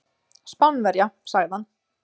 Spánverja, sagði hann.